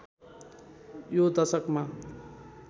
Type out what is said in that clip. यो दशकमा